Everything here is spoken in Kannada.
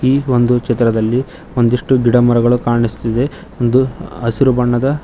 ಈ ಒಂದು ಚಿತ್ರದಲ್ಲಿ ಒಂದಿಷ್ಟು ಗಿಡಮರಗಳು ಕಾಣಿಸುತ್ತಿದೆ ಒಂದು ಹಸಿರು ಬಣ್ಣದ--